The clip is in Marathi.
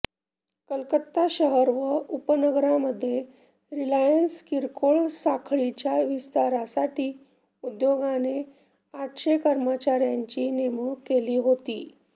कलकत्ता शहर व उपनगरांमध्ये रिलायंस किरकोळ साखळीच्या विस्तारासाठी उद्योगाने आठशे कर्मचार्यांची नेमणूक केली होती